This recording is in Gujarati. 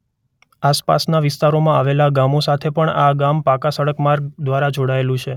આસપાસનાં વિસ્તારોમાં આવેલાં ગામો સાથે પણ આ ગામ પાકા સડક માર્ગ દ્વારા જોડાયેલું છે.